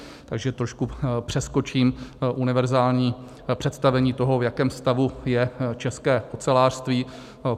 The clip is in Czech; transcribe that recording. Takže trošku přeskočím univerzální představení toho, v jakém stavu je české ocelářství.